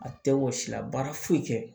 A tɛ wɔsi la baara foyi tɛ